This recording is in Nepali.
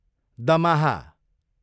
दमाहा